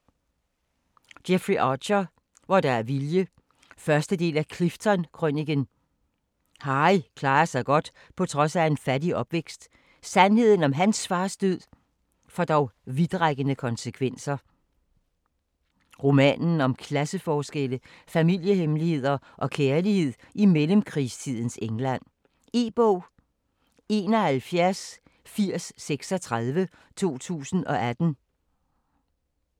Archer, Jeffrey: Hvor der er vilje 1. del af Clifton-krøniken. Harry klarer sig godt på trods af en fattig opvækst. Sandheden om hans fars død, får dog vidtrækkende konsekvenser. Roman om klasseforskelle, familiehemmeligheder og kærlighed i mellemkrigstidens England. E-bog 718036 2018.